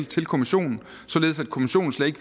til kommissionen således at kommissionen slet ikke